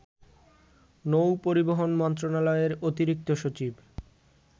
নৌ-পরিবহন মন্ত্রণালয়ের অতিরিক্ত সচিব